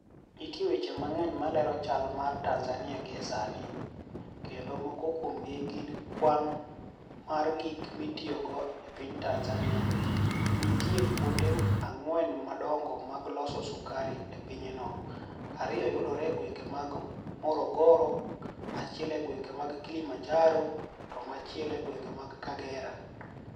niitie weche manig'eniy malero chal mar Tanizaniia gie Saanii, kenido moko kuomgi gini kwani mar gik mitiyogo e piniy Tanizaniia, niitie kuonide anig'weni madonigo mag loso sukari e piny no, ariyo yudore e gwenige mag morogoro, achiel e gwenige mag Kilimanijaro, to machielo e gwenige mag Kagera.